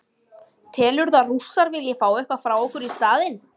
Telurðu að Rússar vilji fá eitthvað frá okkur í staðinn?